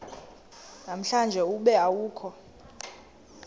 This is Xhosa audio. namhlanje ube awukho